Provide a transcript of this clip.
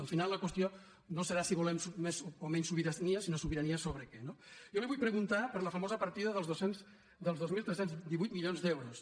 al final la qüestió no serà si volem més o menys sobirania sinó sobirania sobre què no jo li vull preguntar per la famosa partida dels dos mil tres cents i divuit milions d’euros